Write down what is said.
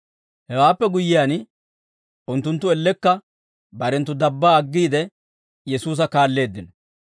Hewaappe guyyiyaan unttunttu ellekka barenttu dabbaa aggiide, Yesuusa kaalleeddino.